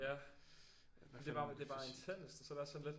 Ja det bare det bare intenst og så er det også sådan lidt